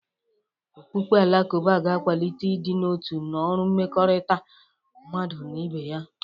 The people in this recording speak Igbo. Okpukpe Alakụba ga-akwalite ịdị n'otu na ọrụ mmekọrịta mmadụ na ibe ya.